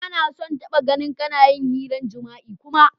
Ba na so n'taba gan kana yin hiran jima'i kuma!